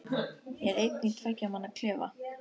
Ég er einn í tveggja manna klefa.